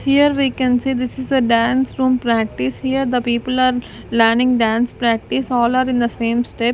here we can see this is a dance room practice here the people are learning dance practice all are in the same step.